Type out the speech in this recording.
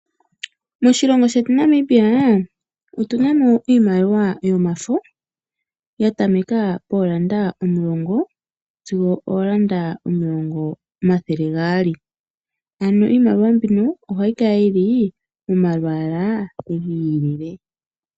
Moshilongo shetu Namibia otuna mo iimaliwa yomafo yatameka pondola omulongo dingo oondola omathele gasli ano iimaliwa mbika ohayi kala yina omalwaala gabyooloka.